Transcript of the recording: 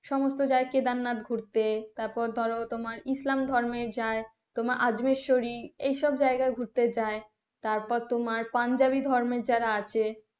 সমস্ত যায় কেদারনাথ ঘুরতে তারপর ধরো তোমার ইসলাম ধর্মে যায় তোমার আজমীর শরীফ এসব জায়গায় ঘুরতে যাই তারপরে তোমার পাঞ্জাবির ধর্মে যারা আছে,